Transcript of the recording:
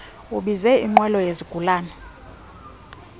ubize inqwelo yezigulana